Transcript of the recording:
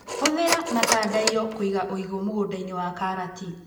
Hũthĩra matandaiyo kũiga ũigũ mũgundainĩ wa karati.